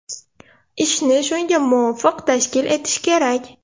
Ishni shunga muvofiq tashkil etish kerak.